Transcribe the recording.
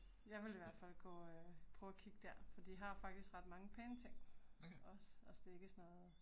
Jeg ville i hvert fald gå øh, prøve og kigge der, for de har faktisk ret mange pæne ting også altså det er ikke sådan noget